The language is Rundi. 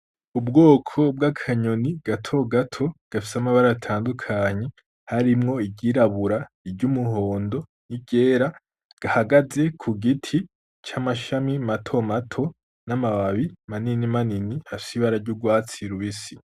Ubwoko bw'akanyoni gato gato gafise amabara atandukanye harimwo iryirabura, iry'umuhondo n'iryera gahagaze ku giti c'amashami mato mato n'amababi manini manini afise ibara ry'urwatsi rubisi.